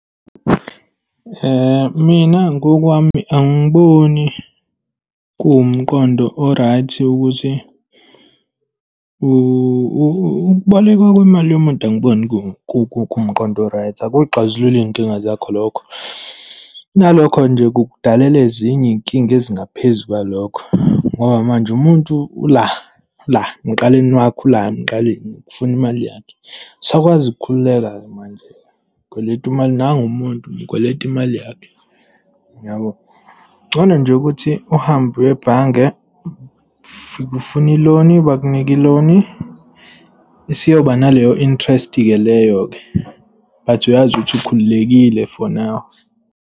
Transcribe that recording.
Mina ngokwami angiboni kuwumqondo o-right ukuthi ukubolekwa kwemali yomuntu angikuboni kuwumqondo o-right. Akuzixazululi iy'nkinga zakha lokho. Kunalokho nje kukudalela ezinye iy'nkinga ezingaphezu kwalokho. Ngoba manje umuntu ula, ula emqaleni wakho, ula emqaleni, ufuna imali yakhe. Awusakwazi ukukhululeka-ke manje. Ukweleta imali. Nangu umuntu, umkweleta imali yakhe, yabo. Kungono nje ukuthi uhambe uye ebhange, ufike ufune i-loan, bakunike i-loan. Isiyoba naleyo interest-ke leyo-ke, but uyazi ukuthi ukhululekile for now.